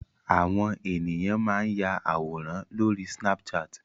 Àwọn ènìyàn máa ń ya àwòrán lóri snapchat.